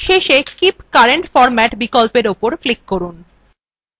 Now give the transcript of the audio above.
শেষে keep current format বিকল্পের উপর click করুন